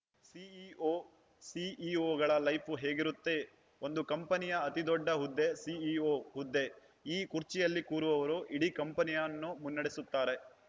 CEO ಸಿಇಒಗಳ life ಹೇಗಿರುತ್ತೆ ಒಂದು ಕಂಪನಿಯ ಅತಿದೊಡ್ಡ ಹುದ್ದೆ ಸಿಇಒ ಹುದ್ದೆ ಈ ಕುರ್ಚಿಯಲ್ಲಿ ಕೂರುವವರು ಇಡೀ ಕಂಪನಿಯನ್ನು ಮುನ್ನಡೆಸುತ್ತಾರೆ